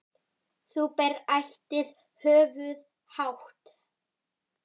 Þú berð ætíð höfuð hátt.